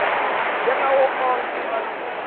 njengawo onkhe emalunga